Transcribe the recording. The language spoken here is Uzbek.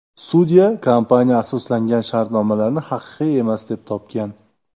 Sudya kompaniya asoslangan shartnomalarni haqiqiy emas, deb topgan.